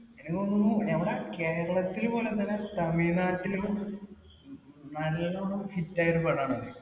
എനിക്ക് തോന്നുന്നു. എവിടാ കേരളത്തില് പോലും എന്നല്ല തമിഴ് നാട്ടിലും നല്ലോണം hit ആയ ഒരു പടമാണ്.